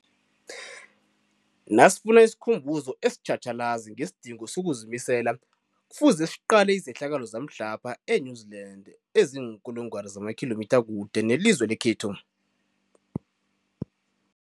Nasifuna isikhumbuzo esitjhatjhalazi ngesidingo sokuzimisela, Kufuze siqale izehlakalo zamhlapha e-New Zealand eziinkulungwana zamakhilomitha kude nelizwe lekhethu.